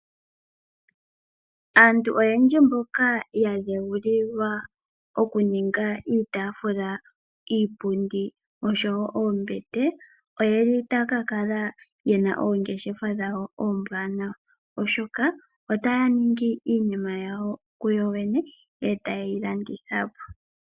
aantu mboka oyendji yadheulilwa oku ninga iipundi, iitafula nosho wo oombete, ota ya ka kala yena oongeshefa dhawo oombwaanwa oshoka ota ya ninngi iinima yawo kuyoyene, eta yi yilandithapo.